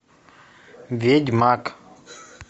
ведьмак